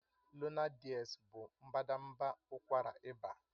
Lonart DS bụ mbadamba ụkwara ịba